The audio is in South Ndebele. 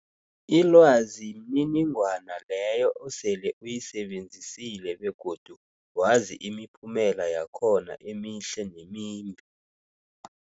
Ilwazi mniningwana leyo osele uyisebenzisile begodu wazi imiphumela yakhona emihle nemimbi.